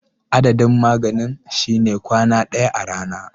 Adadin maganin shine kwaya daya a rana.